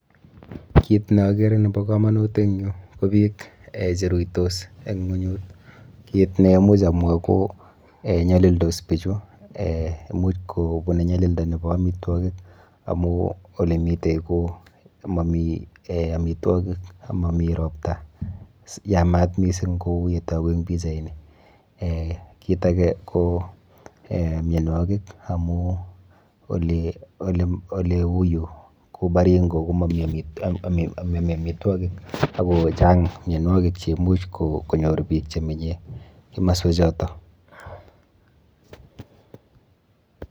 Kiit ne agere na bo kamnut eng yu ko biik che ruitos eng ng'wenyut. Kiit ne much amwa ko nyalildos bichu, much kobunu nyalilda nebo amitwogik, amu ole mite ko mami amitwogik amami robta. Yamat mising kou ya togu eng pichaini. kiit age ko mianwokik amu ole uu yu ku Baringo ko mami amitwogik aku chang mianwokik chemuch konyoru biik che manye komoswechoto.